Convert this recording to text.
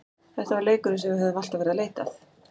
Þetta var leikurinn sem við höfðum alltaf verið að leita að.